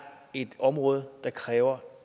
et område der kræver